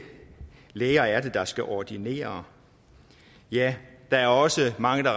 læger der skal ordinere ja der er også mange